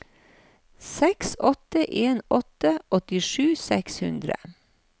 seks åtte en åtte åttisju seks hundre